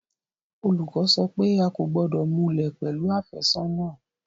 Olùkọ́ sọ pé a kò gbọ́dọ̀ múlẹ̀ pẹ̀lú àfẹ́sọ́nà